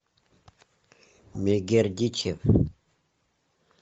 мегердичев